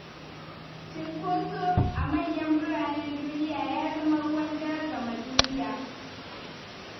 Cunkoso a manyan biranen duniya ya zama ruwan dare game duniya.